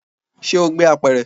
Ṣe o gbé apẹ̀rẹ̀?